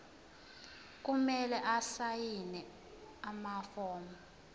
kumele asayine amafomu